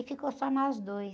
E ficou só nós dois.